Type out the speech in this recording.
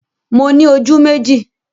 Mo ní ojú méjì